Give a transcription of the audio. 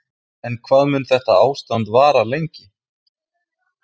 En hvað mun þetta ástand vara lengi?